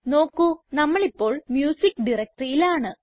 നോക്കു നമ്മളിപ്പോൾ മ്യൂസിക്ക് directoryയിലാണ്